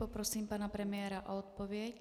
Poprosím pana premiéra o odpověď.